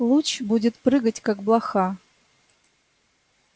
луч будет прыгать как блоха